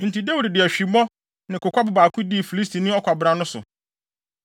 Enti Dawid de ahwimmo ne kokwabo baako dii Filistini ɔkwabran no so.